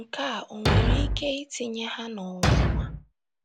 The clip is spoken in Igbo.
Nke a ò nwere ike itinye ha n’ọnwụnwa?